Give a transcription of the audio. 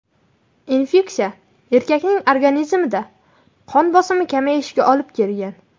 Infeksiya erkakning organizmida qon bosimi kamayishiga olib kelgan.